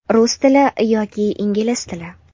Rus tili yoki Ingliz tili.